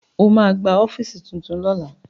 Ó ma gba ọ́fíìsì tuntun lọ́la